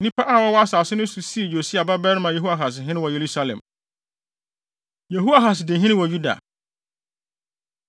Nnipa a wɔwɔ asase no so no sii Yosia babarima Yehoahas hene wɔ Yerusalem. Yehoahas Di Hene Wɔ Yuda